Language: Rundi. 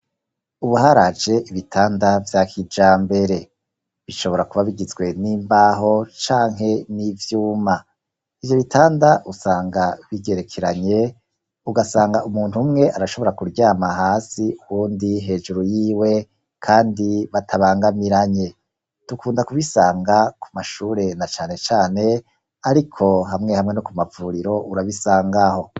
Ubu haraje ibitanda vya kijambere. Bishobora kuba bigizwe n' imbaho canke n' ivyuma. Ivyo bitanda usanga bigerekeranye, ugasanga umuntu umwe arashobora kuryama munsi, uwundi hejuru yiwe kandi batabangamiranye. Dukunda kubisanga ku mashuri na cane cane, ariko hamwe hamwe no ku mavuriro urabisangaho.